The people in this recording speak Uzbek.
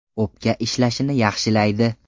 O‘pka ishlashini yaxshilaydi.